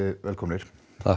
velkomnir